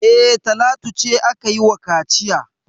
E, Talatu ce aka yi wa kaciya.